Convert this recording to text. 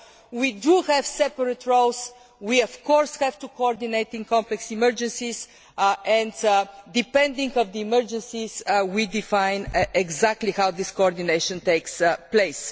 So, we do have separate roles, we do of course have to coordinate in complex emergencies and depending on the emergencies we define exactly how this coordination takes place.